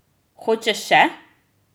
Hočeš še?